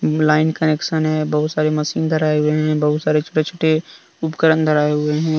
Line connection है। बहुत सारे मशीन धराये हुए हैं। बहुत सारे छोटे छोटे उपकरण धराये हुए है।